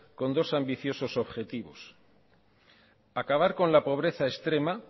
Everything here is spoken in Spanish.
con dos ambiciosos objetivos acabar con la pobreza extrema